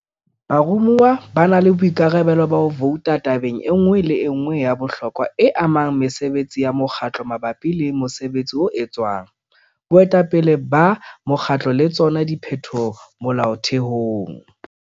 Baromuwa ba na le boikarabelo ba ho vouta tabeng e nngwe le e nngwe ya bohlokwa e amang mesebetsi ya mokgatlo mabapi le mosebetsi o etswang, boetapele ba mokgatlo le tsona diphetoho Molaothehong.